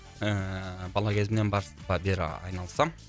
ііі бала кезімнен бері айналысамын